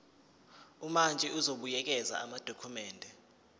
umantshi uzobuyekeza amadokhumende